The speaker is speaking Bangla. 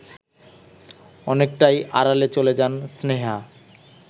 অনেকটাই আড়ালে চলে যান স্নেহা